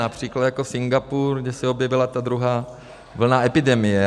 Například jako Singapur, kde se objevila ta druhá vlna epidemie.